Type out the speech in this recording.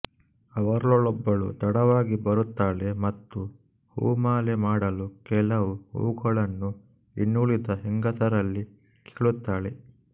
ಅವರಲ್ಲೊಬ್ಬಳು ತಡವಾಗಿ ಬರುತ್ತಾಳೆ ಮತ್ತು ಹೂಮಾಲೆ ಮಾಡಲು ಕೆಲವು ಹೂಗಳನ್ನು ಇನ್ನುಳಿದ ಹೆಂಗಸರಲ್ಲಿ ಕೇಳುತ್ತಾಳೆ